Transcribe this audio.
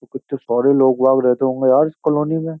कितने सारे लोग बाग रहते होंगे यार इस कॉलोनी में --